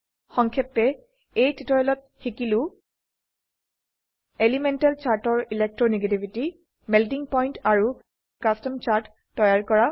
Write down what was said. সংক্ষেপে এই টিউটোৰিয়েলত শিকিছো এলিমেন্টেল চাৰ্টৰ ইলেকট্ৰো নেগেটিভিটি মেল্টিং পইণ্ট আৰু কাস্টম চাৰ্ট তৈয়াৰ কৰা